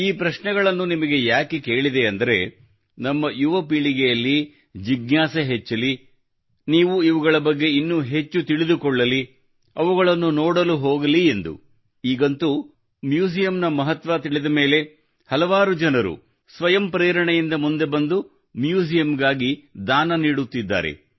ಈ ಪ್ರಶ್ನೆಗಳನ್ನು ನಿಮಗೆ ಯಾಕೆ ಕೇಳಿದೆ ಅಂದರೆ ನಮ್ಮ ಯುವ ಪೀಳಿಗೆಯಲ್ಲಿ ಜಿಜ್ಞಾಸೆ ಹೆಚ್ಚಲಿ ಅವರು ಇವುಗಳ ಬಗ್ಗೆ ಇನ್ನೂ ಹೆಚ್ಚು ತಿಳಿದುಕೊಳ್ಳಲಿ ಅವುಗಳನ್ನು ನೋಡಲು ಹೋಗಲಿ ಎಂದು ಈಗಂತೂ ಮ್ಯೂಸಿಯಂನ ಮಹತ್ವ ತಿಳಿದ ಮೇಲೆ ಹಲವಾರು ಜನರು ಸ್ವಯಂ ಪ್ರೇರಣೆಯಿಂದ ಮುಂದೆ ಬಂದು ಮ್ಯೂಸಿಯಂಗಾಗಿ ದಾನ ನೀಡುತ್ತಿದ್ದಾರೆ